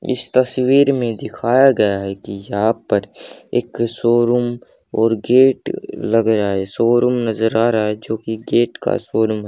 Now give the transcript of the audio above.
इस तस्वीर में दिखाया गया है कि यहां पर एक शोरूम और गेट लग रहा है शोरूम नजर आ रहा है जो की गेट का शोरूम है।